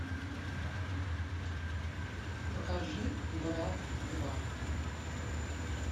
покажи брат два